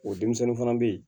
O denmisɛnnin fana bɛ yen